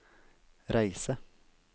reise